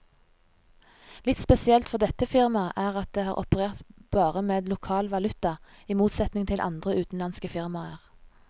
Litt spesielt for dette firmaet er at det har operert bare med lokal valuta, i motsetning til andre utenlandske firmaer.